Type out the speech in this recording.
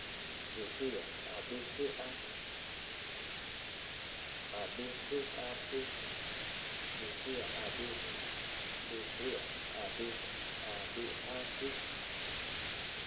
lesea a be a se